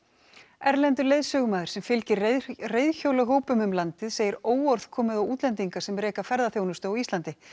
erlendur leiðsögumaður sem fylgir um landið segir óorð komið á útlendinga sem reki ferðaþjónustu á Íslandi